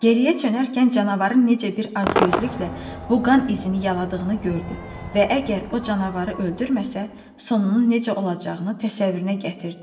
Geriyə çönərkən canavarın necə bir acgözlüklə bu qan izini yaladığını gördü və əgər o canavarı öldürməsə, sonunun necə olacağını təsəvvürünə gətirdi.